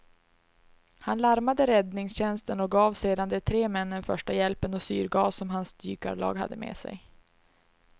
Han larmade räddningstjänsten och gav sedan de tre männen första hjälpen och syrgas som hans dykarlag hade med sig.